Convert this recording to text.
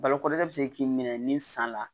Balo kɔrɔdɛ bɛ se k'i minɛ ni san la